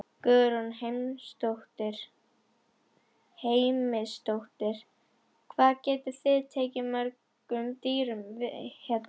Guðrún Heimisdóttir: Hvað getið þið tekið við mörgum dýrum hérna?